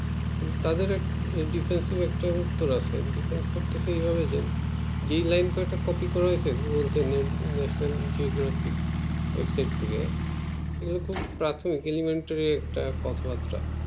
তাদের একটা defensive একটা উত্তর আছে defence করতে এই ভাবে যেই লাইন কটা copy করেছে national geography website থেকে সেগুলো প্রাত খুব elementary একটা কথা বার্তা